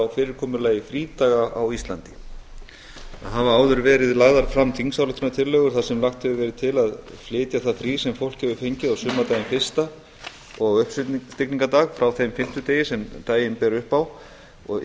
fyrirkomulagi frídaga á íslandi það hafa áður verið lagðar fram þingsályktunartillögur þar sem lagt hefur verið til að flytja það frí sem fólk hefur fengið á sumardaginn fyrsta og á uppstigningardag frá þeim fimmtudegi sem daginn ber upp á og